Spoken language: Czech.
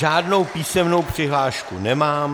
Žádnou písemnou přihlášku nemám.